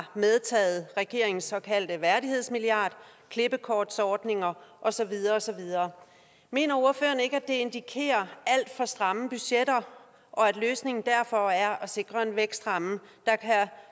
medtaget regeringens såkaldte værdighedsmilliard klippekortsordninger og så videre og så videre mener ordføreren ikke at det indikerer alt for stramme budgetter og at løsningen derfor er at sikre en vækstramme